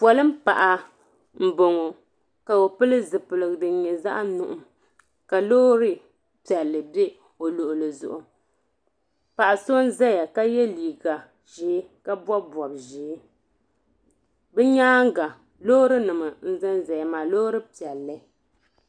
polin' paɣa m-bɔŋɔ ka o pili zupiligu din nyɛ zaɣ' nuɣim ka loori piɛlli be o luɣili zuɣu paɣ' so n-ʒeya ka ye liiga ʒee ka bɔbi bɔb' ʒee din nyaaga loorinima n-za za ya maa loori piɛlli.